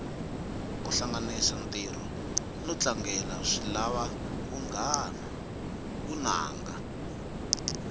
kuhlanganisa ntiro notlangela swilava vunanga